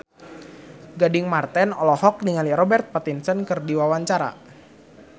Gading Marten olohok ningali Robert Pattinson keur diwawancara